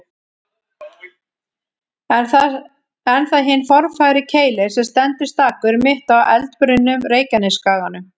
Er það hinn formfagri Keilir sem stendur stakur, mitt á eldbrunnum Reykjanesskaganum.